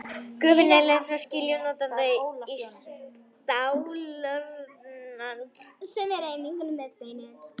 Gufan er leidd frá skilju til notanda í stálrörum sem eru einangruð með steinull.